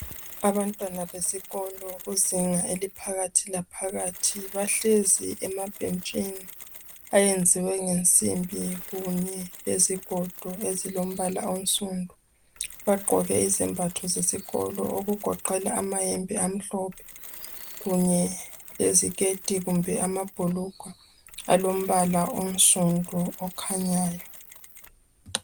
Abantwana besikolo kuzinga eliphakathi laphakathi, bahlezi emabhentshini ayenziwe ngensimbi kunye lezigodo ezilombala onsundu. Bagqoke izembhatho zesikolo okugoqela amayembe amhlophe kunye leziketi kumbe amabhulugwa alombala onsundu okhanyayo.